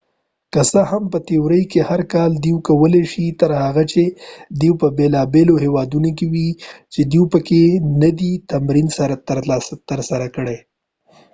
که څه هم په تیوري کې هر کال دوی کولی شي تر هغه چې دوی په بیلا بیلو هیوادونو کې وي چې دوی پکې ندي تمرین ترسره کړي